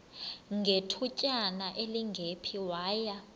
ngethutyana elingephi waya